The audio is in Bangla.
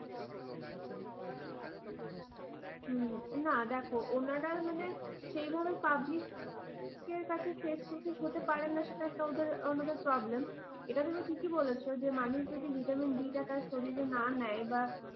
হু না দেখো, ওনারা মানে সেই ভাবে public এর কাছে face to face হতে পারে সেটা ওদের ওনাদের problem । এটা তুমি ঠিকই বলেছ, মানুষ যদি ভিটামিন ডি টা তার শরীরে না নেয়,